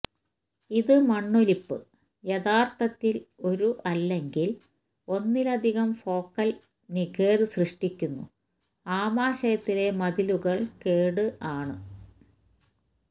ഇത് മണ്ണൊലിപ്പ് യഥാർത്ഥത്തിൽ ഒരു അല്ലെങ്കിൽ ഒന്നിലധികം ഫോക്കൽ നിഖേദ് സൃഷ്ടിക്കുന്നു ആമാശയത്തിലെ മതിലുകൾ കേടു ആണ്